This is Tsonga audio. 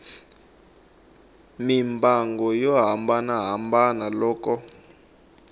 mimbangu yo hambanahambana loko a